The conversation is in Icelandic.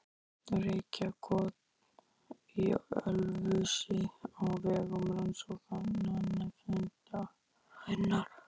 Reykjakot í Ölfusi á vegum Rannsóknanefndarinnar.